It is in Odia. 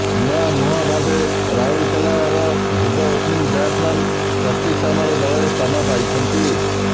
ନୂଆମୁହଁ ଭାବେ ରାଉରକେଲାର ଯୁବ ଓପ୍ନିଂ ବ୍ୟାଟ୍ସମ୍ୟାନ୍ ସ୍ବସ୍ତିକ ସାମଲ ଦଳରେ ସ୍ଥାନ ପାଇଛନ୍ତି